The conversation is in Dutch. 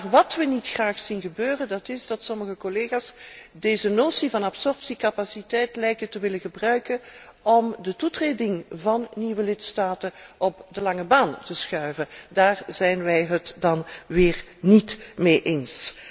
Maar wat wij niet graag zien is dat sommige collega's deze notie van absorptiecapaciteit lijken te willen gebruiken om de toetreding van nieuwe lidstaten op de lange baan te schuiven. Daar zijn wij het niet mee eens.